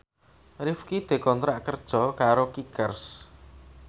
Rifqi dikontrak kerja karo Kickers